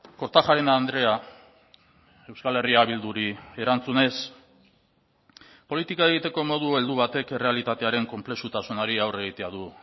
kortajarena andrea euskal herria bilduri erantzunez politika egiteko modu heldu batek errealitatearen konplexutasunari aurre egitea du